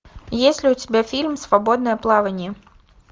есть ли у тебя фильм свободное плавание